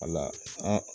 Wala